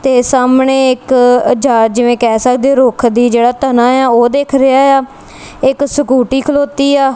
ਤੇ ਸਾਹਮਣੇ ਇੱਕ ਅ ਜਾ ਜਿਵੇਂ ਕਹਿ ਸਕਦੇ ਹੋ ਰੁੱਖ ਦੀ ਜਿਹੜਾ ਤਨਾ ਏ ਆ ਉਹ ਦਿਖ ਰਿਹਾ ਏ ਆ ਇੱਕ ਸਕੂਟੀ ਖਲੋਤੀ ਆ।